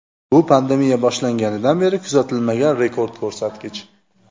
Bu pandemiya boshlanganidan beri kuzatilmagan rekord ko‘rsatkich.